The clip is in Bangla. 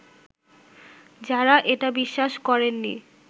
যারা এটা বিশ্বাস করেননি